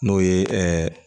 N'o ye